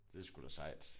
Det sgu da sejt